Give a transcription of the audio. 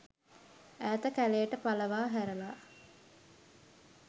ඈත කැලෙට පලවා හැරලා